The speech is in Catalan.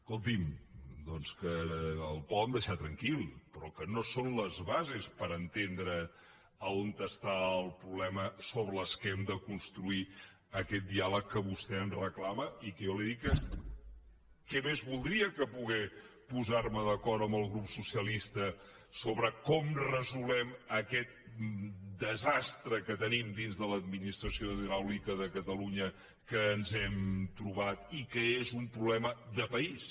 escolti’m doncs que el poden deixar tranquil però que no són les bases per entendre a on hi ha el problema sobre les quals hem de construir aquest diàleg que vostè ens reclama i que jo li dic què més voldria que poder posar me d’acord amb el grup socialista sobre com resolem aquest desastre que tenim dins de l’administració hidràulica de catalunya que ens hem trobat i que és un problema de país